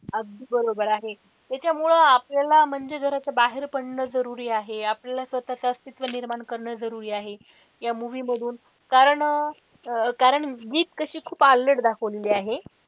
अगदी बरोबर आहे, त्याच्यामुळेच आपल्याला म्हणजे जर असं बाहेर पडणं जरुरी आहे आपल्याला स्वतःच अस्तित्व निर्माण करणं जरुरी आहे, या movie मधून कारण कारण मित कशी खूप अल्लड दाखवलेली आहे.